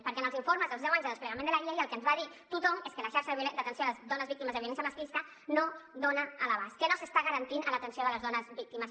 perquè en els informes dels deu anys de desplegament de la llei el que ens va dir tothom és que la xarxa d’atenció a les dones víctimes de violència masclista no dona l’abast que no s’està garantint a l’atenció a les dones víctimes